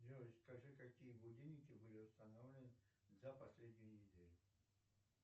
джой скажи какие будильники были установлены за последнюю неделю